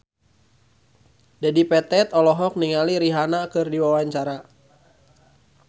Dedi Petet olohok ningali Rihanna keur diwawancara